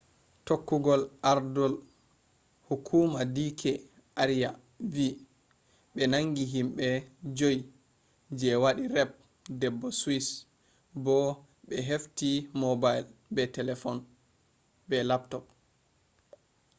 tokkugol ardol hukuma d k arya vi ɓe nangi himɓe joyi je waɗi raped debbo swiss bo ɓe hefti mobile be laptop